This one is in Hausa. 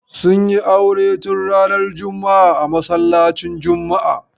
Sun yi aure tun ranar juma'a a masallacin juma'a.